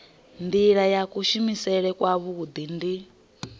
nila ya kuvhusele kwavhui ndi